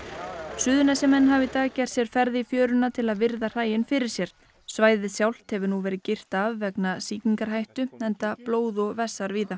Suðurnesjamenn hafa í dag gert sér ferð í fjöruna til að virða hræin fyrir sér svæðið sjálft hefur nú verið girt af vegna sýkingarhættu enda blóð og vessar víða